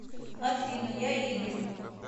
афина я игорь